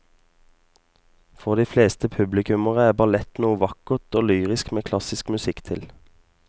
For de fleste publikummere er ballett noe vakkert og lyrisk med klassisk musikk til.